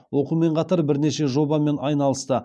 оқумен қатар бірнеше жобамен айналысты